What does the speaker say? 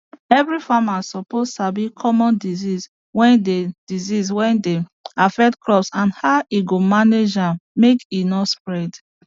every farmer suppose sabi common disease wey dey disease wey dey affect crop and how e go manage am make e no spread